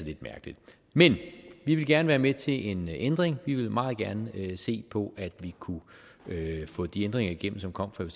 lidt mærkeligt men vi vil gerne være med til en ændring vi vil meget gerne se på at vi kunne få de ændringer igennem som kom fra